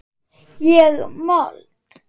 Ég mold.